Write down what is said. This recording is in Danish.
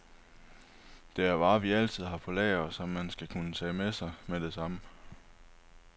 Det er varer, vi altid har på lager, og som man skal kunne tage med sig med det samme.